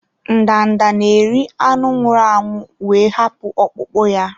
Ndanda na-eri anụ nwụrụ anwụ wee hapụ ọkpụkpụ ya.